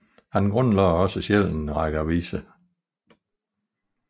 Han grundlagde også selv en række aviser